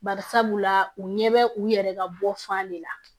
Bari sabula u ɲɛ bɛ u yɛrɛ ka bɔ fan de la